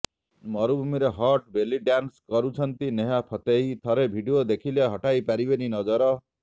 ମରୁଭୂମିରେ hot belly dance କରୁଛନ୍ତି Nora Fatehi ଥରେ ଭିଡିଓ ଦେଖିଲେ ହଟାଇପାରିବେନି ନଜର